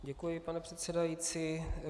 Děkuji, pane předsedající.